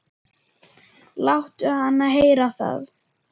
Láttu hana heyra það